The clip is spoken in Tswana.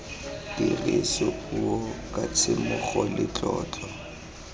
tirisopuo ka tshisimogo le tlotlo